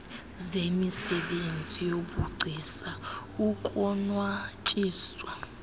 zemisebenzi yobugcisa ukonwatyiswa